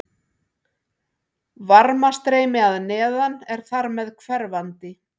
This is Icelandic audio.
Varmastreymi að neðan er þar hverfandi.